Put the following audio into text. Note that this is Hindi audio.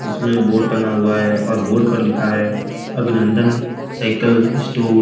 इसमें बोर्ड टंगा हुआ है और बोर्ड पर लिखा है अभिनंदन साइकल स्टोर ।